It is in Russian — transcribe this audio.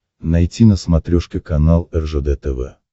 найти на смотрешке канал ржд тв